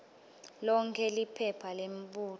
lonkhe liphepha lemibuto